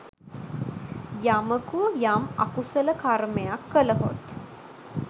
යමකු යම් අකුසල කර්මයක් කළහොත්